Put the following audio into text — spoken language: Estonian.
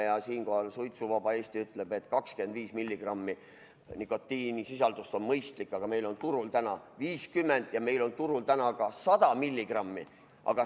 Ja siinkohal suitsuvaba Eesti ütleb, et 25 mg nikotiinisisaldust on mõistlik, aga meil on turul täna 50 mg ja meil on turul täna 100 mg.